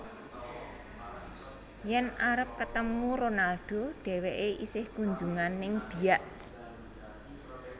Yen arep ketemu Ronaldo dheweke isih kunjungan ning Biak